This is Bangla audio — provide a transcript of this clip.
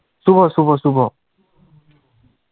শুভ শুভ শুভ,